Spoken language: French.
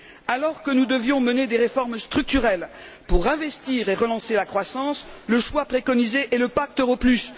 Alors que nous devions mener des réformes structurelles pour investir et relancer la croissance, le choix préconisé est le pacte pour l'euro plus.